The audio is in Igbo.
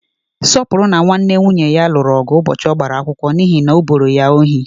Sọpụrụ na nwanne nwunye ya lụrụ ọgụ ụbọchị ọgbara akwụkwọ n'ihi na o boro ya ohi.